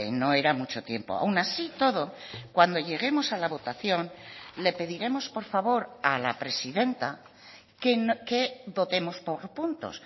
no era mucho tiempo aún así y todo cuando lleguemos a la votación le pediremos por favor a la presidenta que votemos por puntos